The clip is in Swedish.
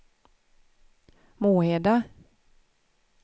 Moheda